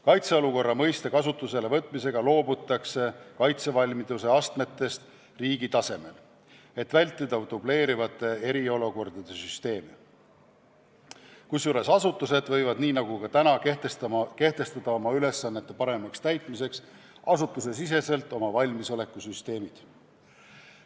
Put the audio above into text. Kaitseolukorra mõiste kasutusele võtmisega loobutakse kaitsevalmiduse astmetest riigi tasemel, et vältida dubleerivate eriolukordade süsteemi, kusjuures asutused võivad nii nagu praegugi kehtestada oma ülesannete paremaks täitmiseks oma valmisolekusüsteemid.